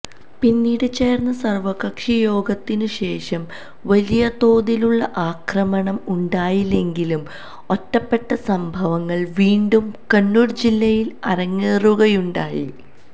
പിന്നീട് ചേർന്ന സർവകക്ഷി യോഗത്തിനു ശേഷം വലിയ തോതിലുള്ള ആക്രമണം ഉണ്ടായില്ലെങ്കിലും ഒറ്റപ്പെട്ട സംഭവങ്ങൾ വീണ്ടും കണ്ണൂർ ജില്ലയിൽ അരങ്ങേറുകയുണ്ടായി